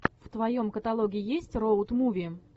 в твоем каталоге есть роуд муви